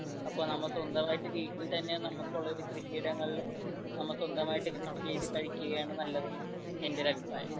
അപ്പോ നമ്മൾ സ്വന്തമായിട്ട് വീട്ടിൽ തന്നെ നമുക്കുള്ള കൃഷിയിടങ്ങയിൽ നമ്മൾ സ്വന്തമായിട്ട് കൃഷി ചെയ്തു കഴിക്കുകയാണ് നല്ലത് എന്റെ ഒരു അഭിപ്രായം